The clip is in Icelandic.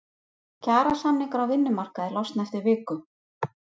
Kjarasamningar á vinnumarkaði losna eftir viku